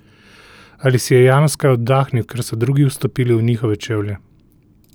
Ali si je Janus kaj oddahnil, ker so drugi vstopili v njihove čevlje?